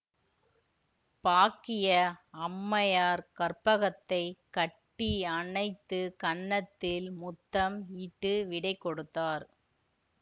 பாக்கிய அம்மையார் கற்பகத்தைக் கட்டி அணைத்து கன்னத்தில் முத்தம் இட்டு விடைகொடுத்தார்